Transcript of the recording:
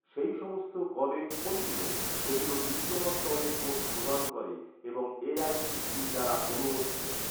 সেই সমস্ত কলেজ কোনগুলো, যেগুলো ডিপ্লোমা স্তরের কোর্স প্রদান করে এবং এ.আই.সি.টি.ই দ্বারা অনুমোদিত?